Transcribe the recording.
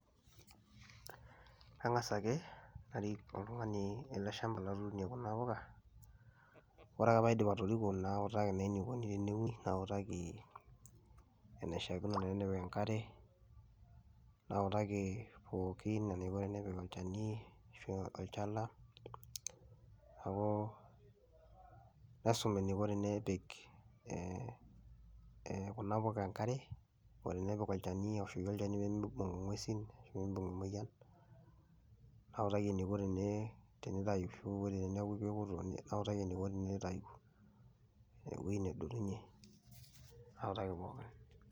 Kangas ake arik oltungani ele shampa latuunie kuna mpuka , wore ake peyie aidip atoriko nawutaki naa enikoni teneuni, nawutaki inashaakino tenepik enkare , nawutaki pookin eniko tenepik olchani ashu olchala , niaku naosum eniko tenepik eeh kuna puuka enkare oo tenepik olchani aoshoki olchani peemibung ingwesin peemibung emoyian , nawutaki eniko tenee tayu ashu wore teniaku kekuto nawutaki eniko tinitayu, eweji nedotunye , nawutaki pookin.